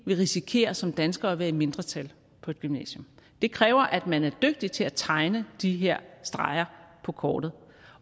vil risikere som danskere at være i mindretal på et gymnasium det kræver at man er dygtig til at tegne de her streger på kortet